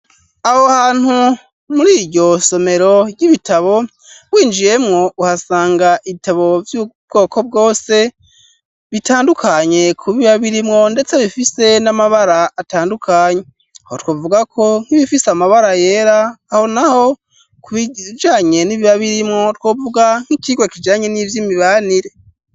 Aho hantu, muri iryo somero ry'ibitabo, winjiyemwo, uhasanga ibitabo, vy'ubwoko bwose, bitandukanye ku biba birimwo, ndetse bifise n'amabara, atandukanye; aho twovuga ko, nk'ibifise amabara yera, aho naho, ku bijanye n'ibiba birimwo, twovuga nk'icigwa, kijanye n'ivy'imibanire.